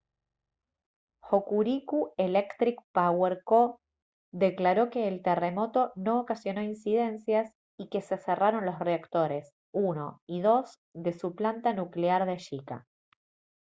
hokuriku electric power co declaró que el terremoto no ocasionó incidencias y que se cerraron los reactores 1 y 2 de su planta nuclear de shika